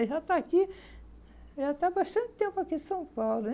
Ele já está aqui, já está há bastante tempo aqui em São Paulo.